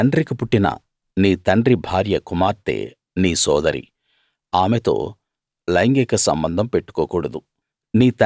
నీ తండ్రికి పుట్టిన నీ తండ్రి భార్య కుమార్తె నీ సోదరి ఆమెతో లైంగిక సంబంధం పెట్టుకోకూడదు